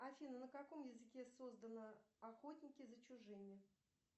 афина на каком языке создано охотники за чужими